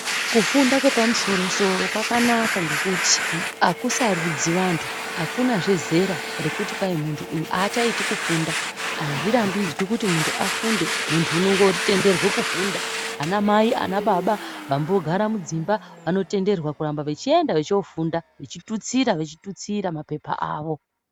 Kufunda kwepamusoro soro kwakanaka ngekuti akusarudzi vantu akuna zvezera rekuti muntu uyu achaiti kufunda azvirambidzwi kuti muntu afunde muntu anotenderwa kufunda ana mai ana baba vambogara mudzimba Vanotenderwa kuramba vachofunda vachitutsira vachitutsira mapepa awo.